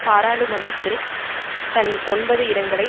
பாராளுமன்றத்தில் தன் ஒன்பது இடங்களை